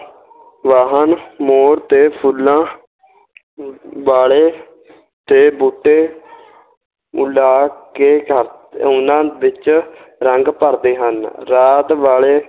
ਵਾਹਣ ਮੋਰ ਤੇ ਫੁੱਲਾਂ ਵਾਲੇ ਤੇ ਬੂਟੇ ਉਲੀਕ ਕੇ ਉਹਨਾਂ ਵਿੱਚ ਰੰਗ ਭਰਦੇ ਹਨ, ਰਾਤ ਵਾਲੇ